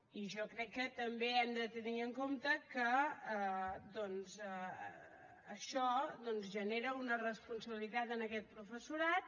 i jo crec que també hem de tenir en compte que doncs això genera una responsabilitat en aquest professorat